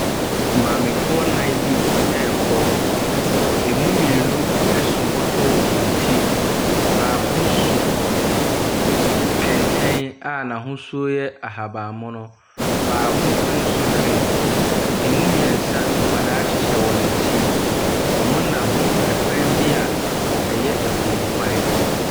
Maamefoɔ nnan bi ɛrekɔ, ɛmu mmienu ɛso bɔtɔ wɔ wɔn ti, baako so kɛntɛn a n’ahosuo yɛ ahabanmono, baako ɛnso hwee. Ɛmu mmiɛnsa, nkwadaa ɛhyehyɛ wɔn akyi. Wɔnam ɛkwan bi a ɛyɛ afuom kwan.